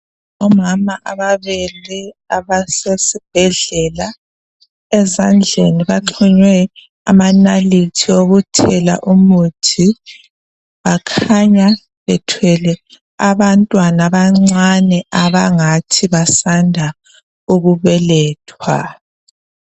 Omama ababili abasesibhedlela ezandleni baxhunywe amanalithi okuthela umuthi. Bakhanya bethwele abantwana abancane abangathi basanda ukubelethwa